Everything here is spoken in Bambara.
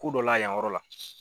dɔ la yan yɔrɔ la.